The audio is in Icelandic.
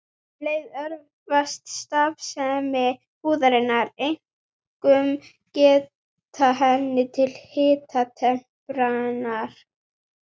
Um leið örvast starfsemi húðarinnar, einkum geta hennar til hitatemprunar.